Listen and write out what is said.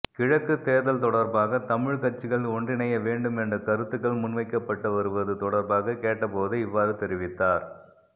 கிழக்கு தேர்தல் தொடர்பாக தமிழ் கட்சிகள் ஒன்றிணைய வேண்டும் என்ற கருத்துக்கள் முன்வைக்கப்பட்டுவருவது தொடர்பாக கேட்டபோதே இவ்வாறு தெரிவித்தார்